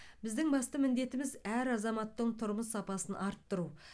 біздің басты міндетіміз әр азаматтың тұрмыс сапасын арттыру